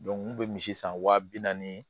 n kun bɛ misi san wa bi naani